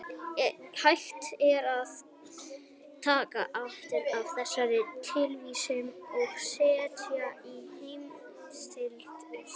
Hægt er að taka afrit af þessari tilvísun og setja í heimildalista.